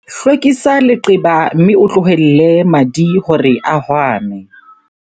Hlwekisa leqeba mme o tlohelle madi hore a hwame.